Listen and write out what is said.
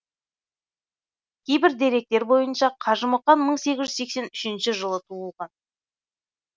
кейбір деректер бойынша қажымұқан мың сегіз жүз сексен үшіншіжылы туылған